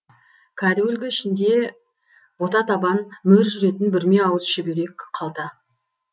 кәдуілгі ішінде ботатабан мөр жүретін бүрме ауыз шүберек қалта